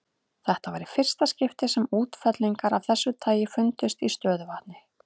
Þetta var í fyrsta skipti sem útfellingar af þessu tagi fundust í stöðuvatni.